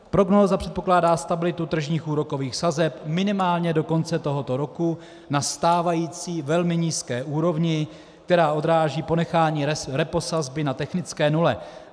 Prognóza předpokládá stabilitu tržních úrokových sazeb minimálně do konce tohoto roku na stávající velmi nízké úrovni, která odráží ponechání reposazby na technické nule.